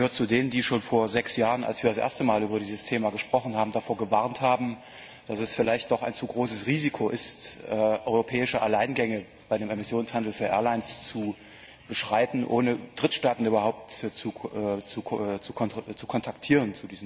Ich gehöre zu denen, die schon vor sechs Jahren, als wir das erste Mal über dieses Thema gesprochen haben, davor gewarnt haben, dass es vielleicht doch ein zu großes Risiko ist, europäische Alleingänge bei dem Emissionshandel für Airlines zu beschreiten, ohne Drittstaaten überhaupt zu diesem Thema zu kontaktieren.